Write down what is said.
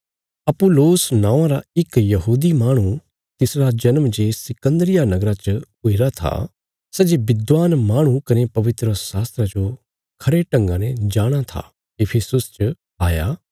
अपुल्लोस नौआं रा इक यहूदी माहणु तिसरा जन्म जे सिकन्दरिया नगरा च हुईरा था सै जे विद्वान माहणु कने पवित्रशास्त्रा जो खरे ढंगा ने जाणाँ था इफिसुस च आया